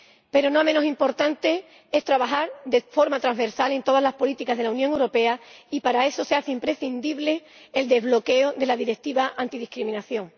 Pero no menos importante es trabajar de forma transversal en todas las políticas de la Unión Europea, y para eso se hace imprescindible el desbloqueo de la directiva antidiscriminación.